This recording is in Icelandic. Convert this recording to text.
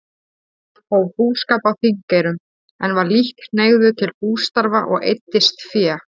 Hóf búskap á Þingeyrum, en var lítt hneigður til bústarfa og eyddist fé.